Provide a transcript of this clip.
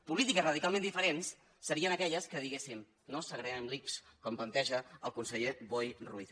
polítiques radicalment diferents serien aquelles que diguessin no segreguem l’ics com planteja el conseller boi ruiz